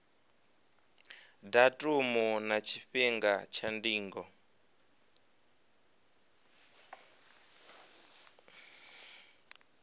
datumu na tshifhinga tsha ndingo